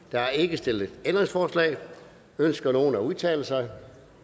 der er ikke stillet ændringsforslag ønsker nogen at udtale sig